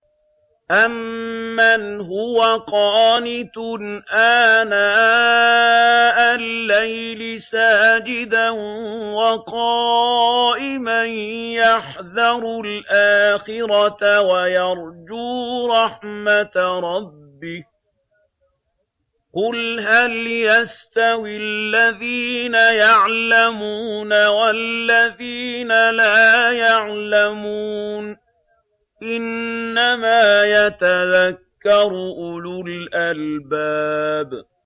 أَمَّنْ هُوَ قَانِتٌ آنَاءَ اللَّيْلِ سَاجِدًا وَقَائِمًا يَحْذَرُ الْآخِرَةَ وَيَرْجُو رَحْمَةَ رَبِّهِ ۗ قُلْ هَلْ يَسْتَوِي الَّذِينَ يَعْلَمُونَ وَالَّذِينَ لَا يَعْلَمُونَ ۗ إِنَّمَا يَتَذَكَّرُ أُولُو الْأَلْبَابِ